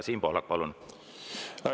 Siim Pohlak, palun!